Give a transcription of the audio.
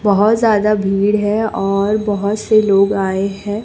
बहोत ज्यादा भीड़ है और बहोत से लोग आए है।